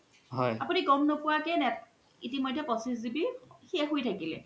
আপুনি গ'ম নোপোআ কে পঁচিছ GB শেষ হয় থকিলে